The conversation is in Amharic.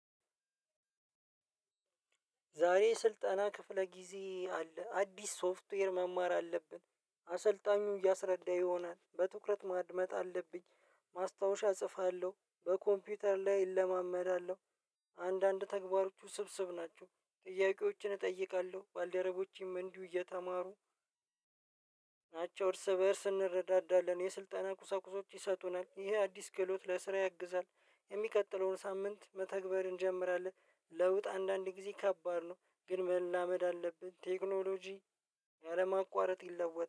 ዛሬ ስልጠና ክፍለ ጊዜ አለ፤ አዲስ ሶፍትዌር መማር አለብን፤ አሰልጣኙን እያሰረዳን ይሆናል፤ በትኩረት ማድመጥ አለብኝ፤ ማስታወሻ እጽፋለሁ በኮምፒውተር ላይ እለማመዳለሁ፤ አንዳንድ ተግባሮቹ ውስብስብ ናቸው፤ ጥያቄዎችን እጠይቃለሁ፤ ባልደረቦቼም እንዲሁ እየተማሩ ናቸው። እርስ በእርስ እንረዳዳለን የስልጠና ቁሳቁሶች ይሰጡናል፤ ይሄ አዲስ ክህሎት ለስራ ያግዛል፤ የሚቀጥለውን ሳምንት መተግበር እንጀምራለን። ለውጥ አንዳንድ ጊዜ ከባድ ነው ግን መላመድ አለብን። ቴክኖሎጂ ያለማቋረጥ ይለወጣል።